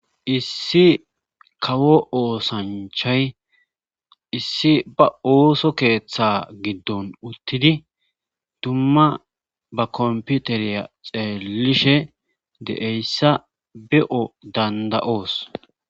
Issi kawo osanchay iss